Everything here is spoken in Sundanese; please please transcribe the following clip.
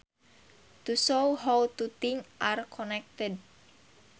To shows how two things are connected